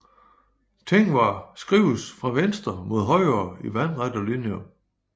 Tengwar skrives fra venstre mod højre i vandrette linjer